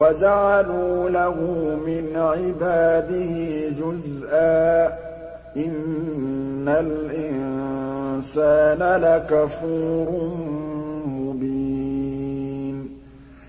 وَجَعَلُوا لَهُ مِنْ عِبَادِهِ جُزْءًا ۚ إِنَّ الْإِنسَانَ لَكَفُورٌ مُّبِينٌ